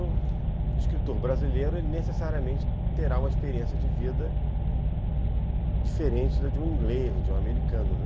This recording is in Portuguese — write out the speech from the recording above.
O escritor brasileiro necessariamente terá uma experiência de vida diferente da de um inglês ou de um americano.